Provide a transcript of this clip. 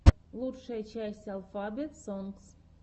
лучшая часть алфабет сонгс